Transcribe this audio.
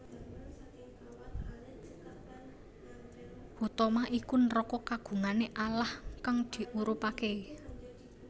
Huthomah iku neraka kagungane Allah kang diurubake